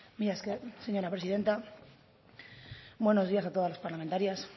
mila esker señora presidenta buenos días a todas las parlamentarias